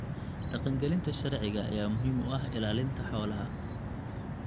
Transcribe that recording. Dhaqangelinta sharciga ayaa muhiim u ah ilaalinta xoolaha.